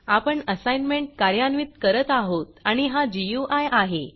आपण असाईनमेंट कार्यान्वित करत आहोत आणि हा गुई आहे